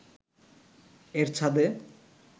এর ছাদে